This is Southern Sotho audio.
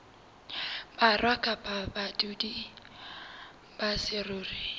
borwa kapa badudi ba saruri